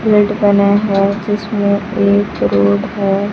पहने हुए है जिसमें एक रोड है।